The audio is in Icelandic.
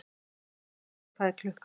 Hámundur, hvað er klukkan?